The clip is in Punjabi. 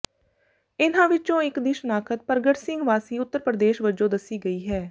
ਇਨ੍ਹਾਂ ਵਿਚੋਂ ਇੱਕ ਦੀ ਸ਼ਨਾਖਤ ਪ੍ਰਗਟ ਸਿੰਘ ਵਾਸੀ ਉਤਰ ਪ੍ਰਦੇਸ਼ ਵਜੋਂ ਦੱਸੀ ਗਈ ਹੈ